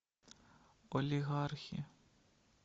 олигархи